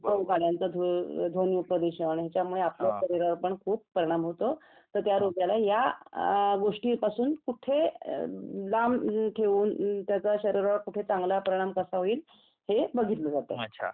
गाड्यांचा धूर ध्वनी प्रदूषण याच्यामुळे आपल्या शरीरावर पण खूप परिणाम होतो तर त्या रोग्याला या गोष्टीपासून कुठे लांब ठेवून त्याचा शरीरावर कुठे चांगला परिणाम कसा होईल हे बघितल्या जातं